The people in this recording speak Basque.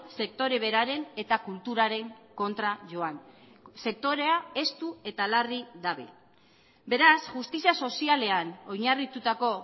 sektore beraren eta kulturaren kontra joan sektorea estu eta larri dabil beraz justizia sozialean oinarritutako